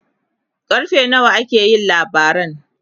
karfe nawa aka yi labaran?